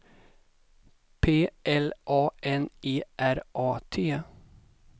P L A N E R A T